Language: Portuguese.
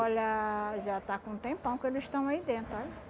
Olha, já está com um tempão que eles estão aí dentro, olha.